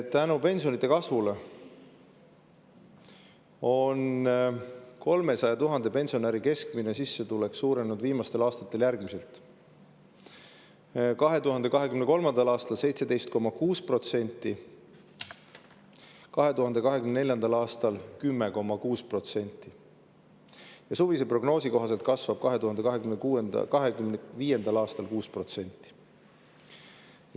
Tänu pensionide kasvule on 300 000 pensionäri keskmine sissetulek suurenenud viimastel aastatel järgmiselt: 2023. aastal 17,6%, 2024. aastal 10,6% ja suvise prognoosi kohaselt kasvab 2025. aastal 6%.